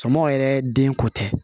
Sɔmɔ yɛrɛ den ko tɛ